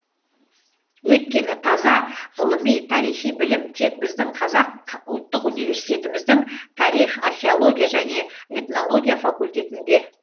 өйткені таза ғылыми тарихи білім тек біздің қазақ ұлттық университетіміздің тарих археология және этнология факультетінде